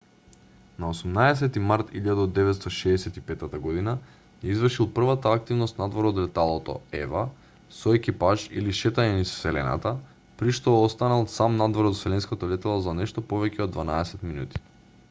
на 18 март 1965 г. ја извршил првата активност надвор од леталото ева со екипаж или шетање низ вселената при што останал сам надвор од вселенското летало за нешто повеќе од дванаесет минути